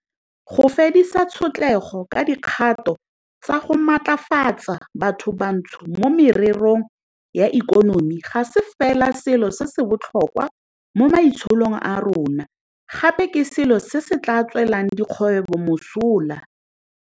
Go fedisa tshotlego ka dikgato tsa go matlafatsa bathobantsho mo mererong ya ikonomi ga se fela selo se se botlhokwa mo maitsholong a rona, gape ke selo se se tla tswelang dikgwebo mosola.